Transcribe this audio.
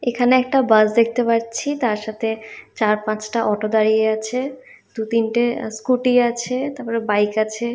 এখানে একটা বাস দেখতে পাচ্ছি তার সাথে চার পাঁচটা অটো দাঁড়িয়ে আছে দু তিনটে স্কুটি আছে তারপরে বাইক আছে।